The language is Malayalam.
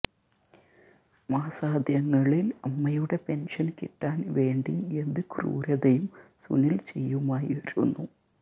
മാസാദ്യങ്ങളില് അമ്മയുടെ പെന്ഷന് കിട്ടാന് വേണ്ടി എന്ത് ക്രൂരതയും സുനില് ചെയ്യുമായിരുന്നു